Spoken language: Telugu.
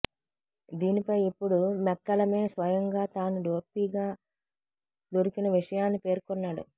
దీనిపై ఇప్పుడు మెక్కలమే స్వయంగా తాను డోపీగా దొరికిన విషయాన్ని పేర్కొన్నాడు